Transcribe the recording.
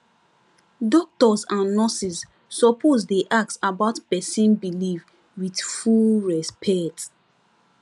doctors and nurses suppose dey ask about person belief with full respect